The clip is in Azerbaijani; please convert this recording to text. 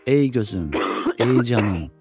Ey gözüm, ey canım.